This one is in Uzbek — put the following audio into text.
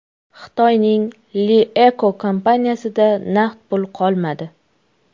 Xitoyning LeEco kompaniyasida naqd pul qolmadi.